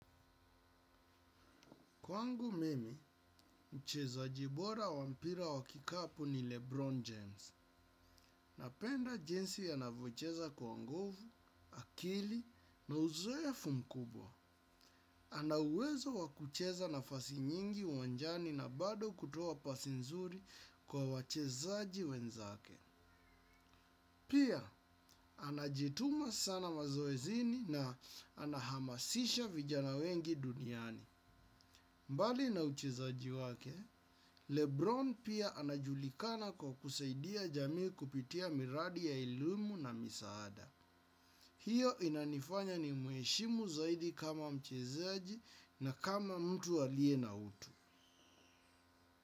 Kwangu mimi, mchezaji bora wa mpira wa kikapu ni Lebron James. Napenda jinsi anavyocheza kwa nguvu, akili na uzoefu mkubwa. Ana uwezo wa kucheza nafasi nyingi uwanjani na bado kutuoa pasi nzuri kwa wachezaji wenzake. Pia, anajituma sana mazoezini na anahamasisha vijana wengi duniani. Mbali na uchezaji wake, Lebron pia anajulikana kwa kusaidia jamii kupitia miradi ya elimu na misaada. Hiyo inanifanya nimuheshimu zaidi kama mchezaji na kama mtu aliye na utu.